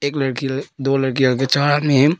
एक लड़की दो लड़कीयां आगे चार आदमी है।